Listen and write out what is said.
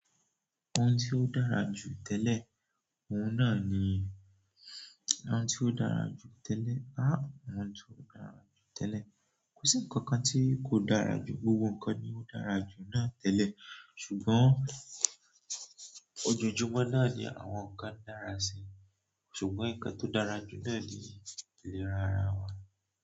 Ohun tí ó dára jù tẹ́lẹ̀, òun náà ni, ohun tí ó dára jù tẹ́lẹ̀. Áà, ohun tí ó dára jù tẹ́lẹ̀. Kò sí ǹkan kan tí kò dára jù, gbogbo ǹkan ni ó dára jù náà tẹ́lẹ̀, ṣùgbọ́n ojoojúmọ́ náà ni àwọn ǹkan ń dára sí i, ṣùgbọ́n nǹkan tó dára jù náà ni ìlera ara wọn.